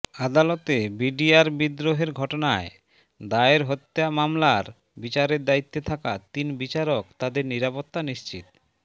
আদালতে বিডিআর বিদ্রোহের ঘটনায় দায়ের হত্যা মামলার বিচারের দায়িত্বে থাকা তিন বিচারক তাদের নিরাপত্তা নিশ্চিত